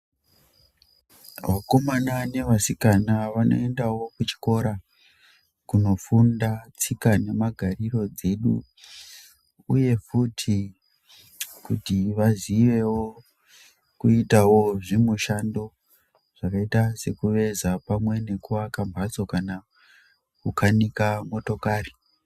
Vakomana nevasikana vanoendawo kuchikora kunofunda tsika nemagariro edu uye futi kuti vaziyewo kuita zvimushando zvakaita sekuveza pamwe nekuaka mbatso kana kukanika motokari.